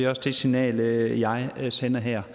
også det signal jeg sender her